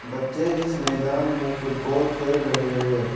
बच्चे इस मैदान में फुटबॉल खेल रहे हैं।